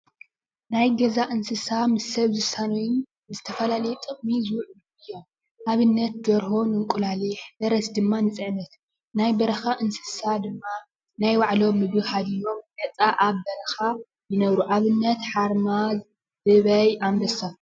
ናይ ገዛ እንስሳ ምስ ሰብ ዝሳነዩን ንዝተፈላለዩ ጥቕሚ ዝውዕሉ እዮም፡፡ ኣብነት ደርሆ ንእንቁላሊሕ፣ ፈረስ ድማ ንፅዕነት ፤ናይ በረኻ እንስሳ ድማ ናይ ባዕሎም ምግቢ ሃሊዩዎም ነፃ ኣብ በረኻ ይነብሩ፡፡ ኣብነት ሓርማዝ ፣ ህበይ፣ ኣንበሳ